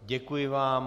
Děkuji vám.